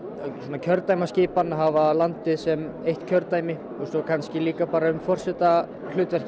kjördæmaskipan að hafa landið sem eitt kjördæmi og svo kannski líka bara um